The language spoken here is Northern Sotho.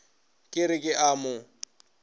ke re ke a mo